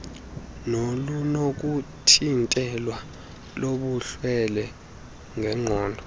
nolunokuthintelwa lobulwelwe ngenqondo